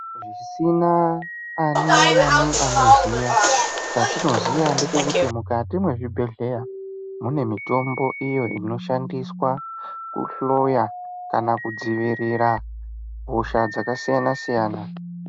Zvisina ani naani anoziya, chatinoziya ndechekuti mwukati mwezvibhedhleya mune mitombo iyo inoshandiswa kuhloya kana kudzivirira hosha dzakasiyana siyana.